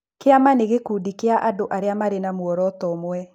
Kĩama nĩ gĩkundi kĩa andũ arĩa marĩ na mũoroto ũmwe.